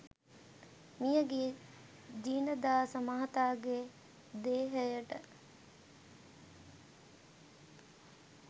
මියගිය ජිනදාස මහතාගේ දේහයට